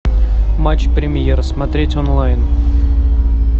матч премьер смотреть онлайн